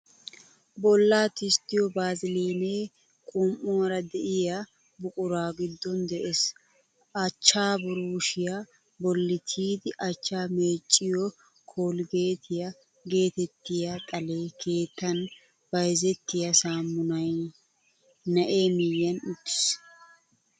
Bollaa tisttiyo vaaziliinee qum'uwaara de'iya buquran giddon de"ees. Achchaa buruushiyaa bolli tiyidi achchaa meecciyo kolggeetiyaa geetettiya, xale keettan bayzettiya saamunay na"ee miyyiyan uttiis.